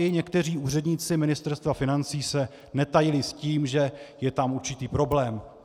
I někteří úředníci Ministerstva financí se netajili s tím, že je tam určitý problém.